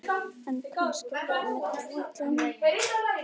En kannski er það einmitt ætlunin.